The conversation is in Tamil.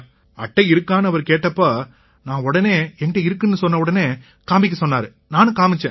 அட்டை இருக்கான்னு அவரு கேட்டப்ப நான் உடனே என் கிட்ட இருக்குன்னு சொன்னவுடனே காமிக்க சொன்னாரு நானும் காமிச்சேன்